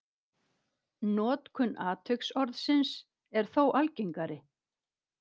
Notkun atviksorðsins er þó algengari.